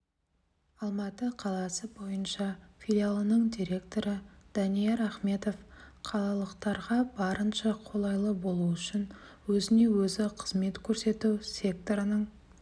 алматы қаласы бойынша филиалының директоры данияр ахметов қалалықтарға барынша қолайлы болу үшін өзіне-өзі қызмет көрсету секторының